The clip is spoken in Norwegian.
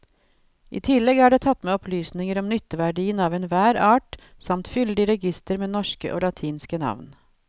I tillegg er det tatt med opplysninger om nytteverdien av enhver art samt fyldig reigister med norske og latinske navn.